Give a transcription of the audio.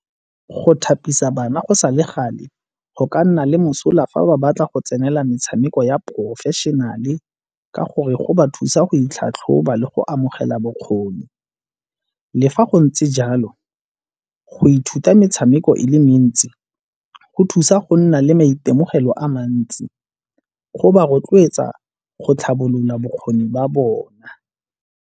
Go thapisa bana go sa le gale go ka nna le mosola fa ba batla go tsenela metshameko ya professional-e ka gore go ba thusa go itlhatlhoba le go amogela bokgoni. Le fa go ntse jalo go ithuta metshameko e le mentsi go thusa go nna le maitemogelo a mantsi go ba rotloetsa go tlhabolola bokgoni ba bona.